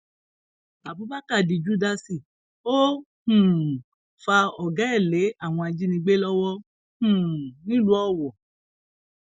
abubakar di júdásì ó um fa ọgá ẹ lé àwọn ajinígbé lọwọ um nílùú owó